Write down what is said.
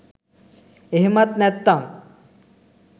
එහෙමත් නැත්තන්